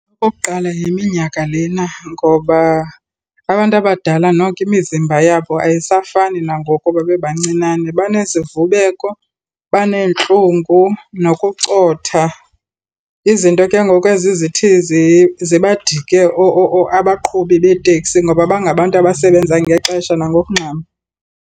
Okokuqala yiminyaka lena ngoba abantu abadala noko imizimba yabo ayisafani nangoku babebancinane, banezivubeko, baneentlungu nokucotha izinto ke ngoku ezi zithi zibadike abaqhubi beeteksi ngoba bangabantu abasebenza ngexesha nangokungxama.